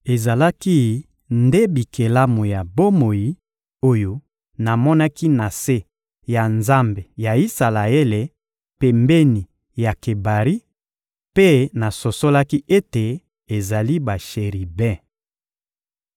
Ezalaki nde bikelamu ya bomoi oyo namonaki na se ya Nzambe ya Isalaele pembeni ya Kebari; mpe nasosolaki ete ezali basheribe.